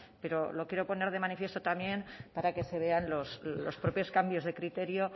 pero lo quiero poner de manifiesto también para que se vean los propios cambios de criterio